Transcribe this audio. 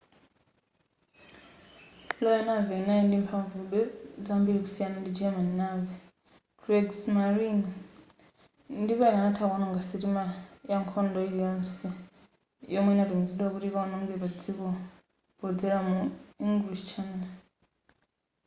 royal navy inali ili ndi mphavube zambiri kusiyana ndi german navy kriegsmarine” ndipo ikanatha kuononga sitima ya nkhondo ili yonse yomwe ikanatumizidwa kuti ikaononge podzera mu english channel